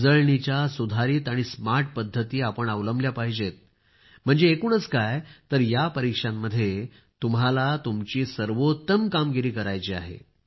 उजळणीच्या सुधारित आणि स्मार्ट पद्धती अवलंबल्या पाहिजेत म्हणजे एकूणच काय तर या परीक्षांमध्ये तुम्हाला तुमची सर्वोत्तम कामगिरी करायची आहे